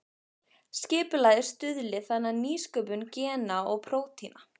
Skipulagið stuðli þannig að nýsköpun gena og prótína.